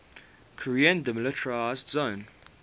korean demilitarized zone